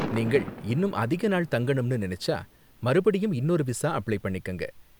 நீங்கள் இன்னும் அதிக நாள் தங்கணும்னு நினைச்சா, மறுபடியும் இன்னொரு விசா அப்ளை பண்ணிக்கங்க.